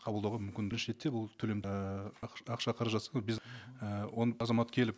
қабылдауға мүмкін бірінші ретте бұл төлем і ақша қаражатсыз көп і азамат келіп